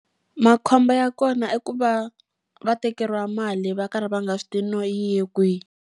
Makhombo ya kona i ku va va tekeriwa mali va karhi va nga swi tivi no yi ye kwihi.